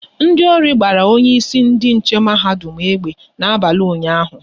Ndị ori gbara onye isi ndị nche mahadum egbe n'abalị ụnyaahụ